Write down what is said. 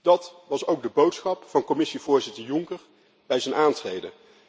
Dat was ook de boodschap van Commissievoorzitter Juncker bij zijn aantreden.